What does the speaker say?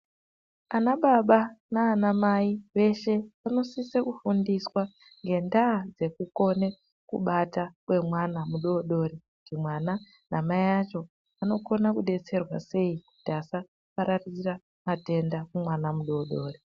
Anababa nanamayi, veshe vanosise kufundiswa ngendaha dzekukone kubata kwemwana mudodori, kuti mwana namayi acho, vanokona kudetserwa seyi kuti asapararira matenda kumwana mudodori.